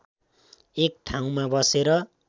एक ठाउँमा बसेर